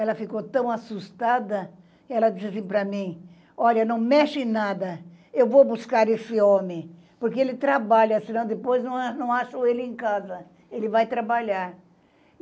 Ela ficou tão assustada, ela disse para mim, olha, não mexe em nada, eu vou buscar esse homem, porque ele trabalha, se não depois, não acham ele em casa, ele vai trabalhar.